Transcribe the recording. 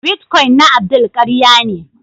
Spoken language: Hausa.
" Bitcoin na Abdul karya ne.